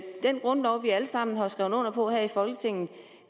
den grundlov vi alle sammen har skrevet under på her i folketinget